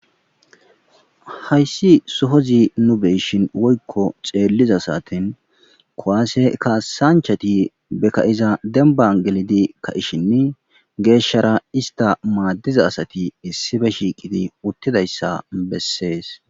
hayssi sohozi nu beyshin woykko xeelliza satin kowaase kaasanchati beka7iza demban gelidi ka ishinni geeshshara ista maaddiza asati issibe shiiqidi uttidayssa bessees